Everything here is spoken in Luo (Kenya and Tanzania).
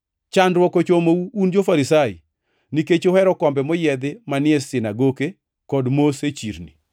“Chandruok ochomou un jo-Farisai, nikech uhero kombe moyiedhi manie sinagoke kod mos e chirni.